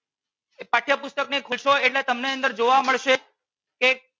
પાઠ્ય પુસ્તક ને ખોલશો એટલે તમને અંદર જોવા મળશે કે